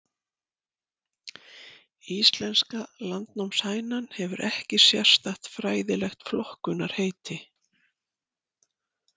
Íslenska landnámshænan hefur ekki sérstakt fræðilegt flokkunarheiti.